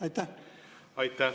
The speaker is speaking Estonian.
Aitäh!